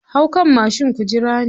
Hau kan mashin ku jira ni.